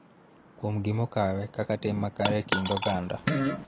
Kuom gima okawe kaka tim makare e kind oganda.